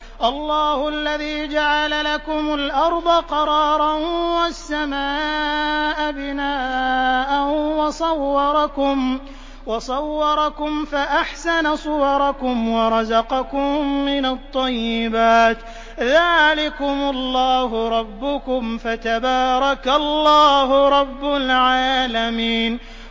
اللَّهُ الَّذِي جَعَلَ لَكُمُ الْأَرْضَ قَرَارًا وَالسَّمَاءَ بِنَاءً وَصَوَّرَكُمْ فَأَحْسَنَ صُوَرَكُمْ وَرَزَقَكُم مِّنَ الطَّيِّبَاتِ ۚ ذَٰلِكُمُ اللَّهُ رَبُّكُمْ ۖ فَتَبَارَكَ اللَّهُ رَبُّ الْعَالَمِينَ